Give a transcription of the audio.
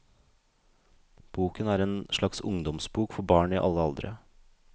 Boken er en slags ungdomsbok for barn i alle aldre.